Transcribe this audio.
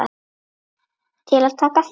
Til að taka þátt